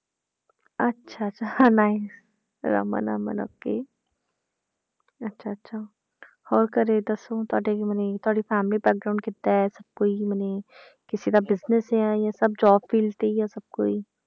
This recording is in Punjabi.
ਅੱਛਾ ਅੱਛਾ ਹਾਂ nice ਰਮਨ ਅਮਨ okay ਅੱਛਾ ਅੱਛਾ ਹੋਰ ਘਰੇ ਦੱਸੋ ਤੁਹਾਡੇ ਮਨੇ ਤੁਹਾਡੀ family ਕਿੱਦਾਂ ਹੈ, ਕੋਈ ਮਨੇ ਕਿਸੇ ਦਾ business ਹੈ ਜਾਂ ਸਭ job field ਤੇ ਹੀ ਆ ਸਭ ਕੋਈ।